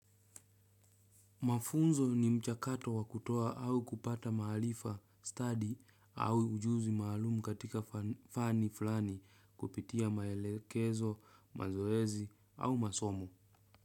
Mafunzo ni mchakato wakutoa au kupata mahalifa, study au ujuzi mahalumu katika fani fulani kupitia maelekezo, mazoezi au masomo.